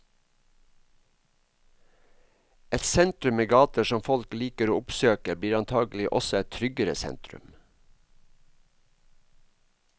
Et sentrum med gater som folk liker å oppsøke blir antagelig også et tryggere sentrum.